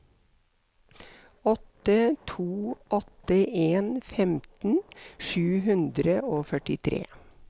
åtte to åtte en femten sju hundre og førtitre